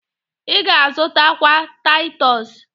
Ị ga azụtakwa Taịtọs